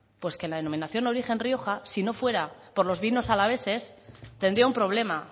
pues que la denominación de origen rioja si no fuera por los vinos alaveses tendría un problema